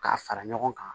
K'a fara ɲɔgɔn kan